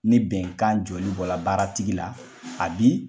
Ni bɛnkan jɔli bɔra baaratigi la a bi